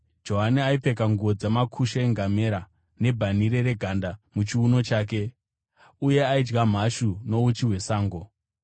Johani aipfeka nguo dzamakushe engamera, nebhanhire reganda muchiuno chake, uye aidya mhashu nouchi hwesango.